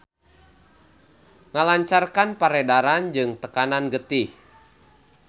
Ngalancarkan peredaran jeung tekanan getih.